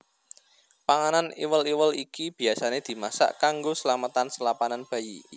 Panganan iwel iwel iki biayasané dimasak kanggo slametan selapanan bayi